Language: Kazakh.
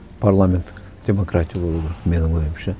парламенттік демократия болу керек менің ойымша